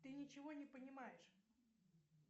ты ничего не понимаешь